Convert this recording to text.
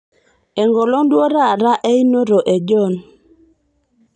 enkolong duo taata einoto e John